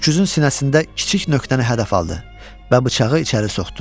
Öküzün sinəsində kiçik nöqtəni hədəf aldı və bıçağı içəri soxdu.